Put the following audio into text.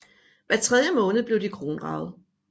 Hver tredje måned blev de kronraget